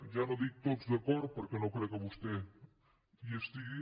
ja no dic tots d’acord perquè no crec que vostè hi estigui